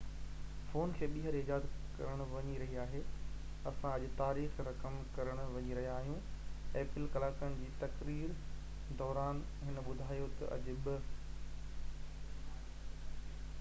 2 ڪلاڪن جي تقرير دوران هن ٻڌايو ته اڄ apple فون کي ٻيهر ايجاد ڪرڻ وڃي رهي آهي اسان اڄ تاريخ رقم ڪرڻ وڃي رهيا آهيون